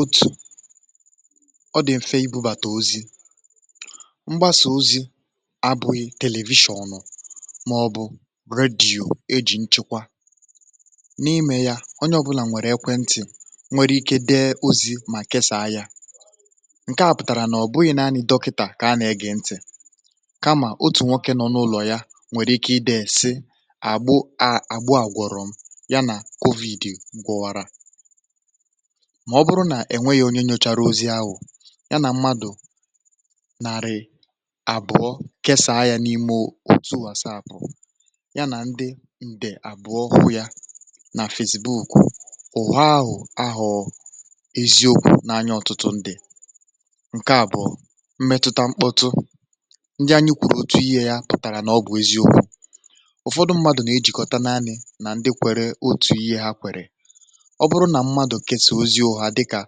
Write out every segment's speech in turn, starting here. otù ọ dị̀ mfe ibubàtà ozi mgbasà ozi abụghị telivishọ̀ um ọnụ̇ màọ̀bụ̀ redio e jì nchekwa n’imė ya onye ọbụlà nwèrè ekwe ntị̀ nwere ike dị ozi̇ mà kesàa ya ǹke à pụtàrà nà ọ̀ bụghị̇ nà anyị dọkịtà kà anyị gị ntị̀ kamà otù nwoke nọọ n’ụlọ̀ ya nwèrè ike ịdị̇ èsi àgbụ àgbụ àgwọ̀rọ̀ m mà ọ bụrụ nà ènwe yȧ onye nȯchàrà ozi ahụ̀ ya nà mmadụ̀ nàrị̀ àbụ̀ọ kesàa yȧ n’ime otu àsa àbụ̀ọ ya nà ndi ǹdè àbụ̀ọ um ụ̀ya nà fèzìbe ùkwù ụ̀họahụ̀ ahụ̀ọ eziokwu̇ n’anya ọ̀tụtụ ǹdì ǹke àbụ̀ọ mmetụta mkpọtụ ndị anyị kwụ̀rụ̀ otù ihe yȧ pụ̀tàrà nà ọ gụ̇ eziokwu̇ ụ̀fọdụ mmadụ̇ nà ejìkọta naanị̇ nà ndi kwère otù ihe ha kwèrè ọ bụrụ nà mmadụ̀ kesàoziȯ ha dịkà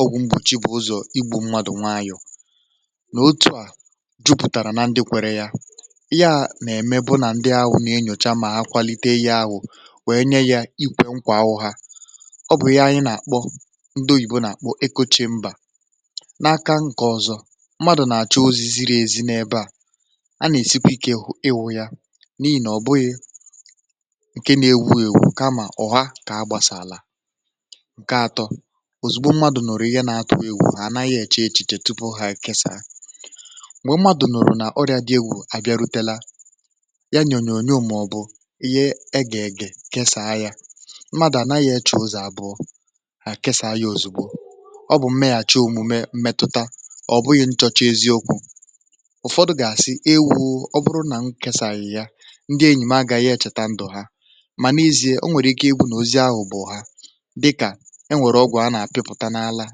ọgwụ̇ mkpùchi bụ̀ ụzọ̀ igbu̇ mmadụ̀ nwayọ̀ nà otù à jupùtàrà na ndị kwere yȧ ya nà-ème bụ nà ndị ahụ̀ nà-enyòcha mà akwàlite yȧ ahụ̀ wee nye ya ikwė nkwà ahụ̀ ha ọ bụ̀ ya anyị nà-àkpọ ndị oyìbo um nà-àkpọ ekoche mbà n’aka m kà ọ̀zọ mmadụ̀ nà-àchụ ozi̇ ziri èzi n’ebe à a nà-èsikwa ikė ewu ya n’ihe nà ọ bụghị̇ ǹke n’ewu èwù kamà ọ̀ ha kà agbàsà àlà ǹke atọ ozùgbò mmadụ̀ nọ̀rọ̀ ihe nà-atọ wụ iwu ha ànaghị̇ èche echiche tupu ha kesàa m̀gbè mmadụ̀ nọ̀rọ̀ n’ọrịà dị ewu àbịarutela ya nyònyò ònyò màọ̀bụ̀ ihe e gà-ègè kesàa ya mmadụ̀ ànaghị̇ e chò ozù àbụọ ha kesàa ya ozùgbò ọ bụ̀ mmeghàchi omume mmetụta ọ bụghị̇ nchọchị eziokwu̇ ụ̀fọdụ gà-àsị ewu̇ ọ bụrụ nà m kesàa ya ya ndị enyìma agȧghị echèta ndù ha mà n’izie o nwèrè ike ebu̇ nọzi ahụ̀ bụ̀ ha dịkà enwèrè ọgwụ̀ a nà-àpịpụ̀ta n’àlà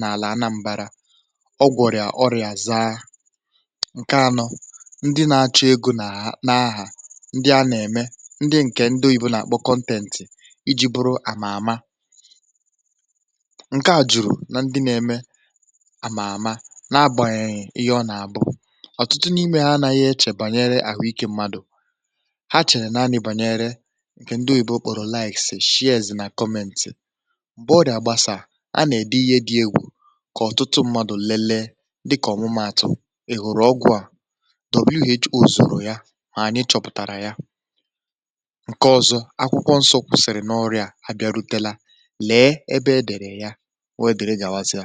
n’àlà anambara um ọgwụ̀rị̀à ọrị̀à za ǹke anọ ndị nȧ-achọ egȯ nà n’ahà ndị a nà-ème ndị ǹkè ndị oyibo na-àkpọ kọntentì iji̇ bụrụ àmà àma ǹke à jùrù na ndị na-eme àmà àma na agbànyènyè ihe ọ nà-àbụ ọ̀tụtụ n’ime ha anaghị echè bànyere àhụ ikė mmadụ̀ ha chène a nà-ani bànyere ǹkè ndị oyibo kpọ̀rọ̀ laìs shìe èzì nà kọmentì a nà-èdi ihe dị egwù kà ọtụtụ ṁmȧdụ̀ lelee um dịkà ọ̀mụmaàtụ̀ èhụ̀rụ̀ ọgwụ̀ ahụ̀ w.h.o zùrù ya mà ànyị chọ̀pụ̀tàrà ya ǹke ọ̀zọ akwụkwọ nsọ kwụ̀sị̀rị̀ n’ọrịà a bịarutela lee ebe edèrè ya w.edèrè gà-àwazị à.